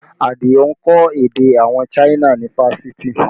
Adio ń kọ́ èdè àwọn China ni fáṣítì